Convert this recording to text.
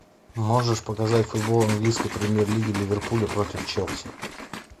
можешь показать футбол английской премьер лиги ливерпуля против челси